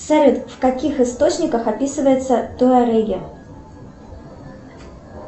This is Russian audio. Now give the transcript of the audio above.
салют в каких источниках описываются туареги